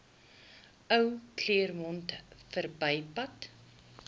ou claremont verbypad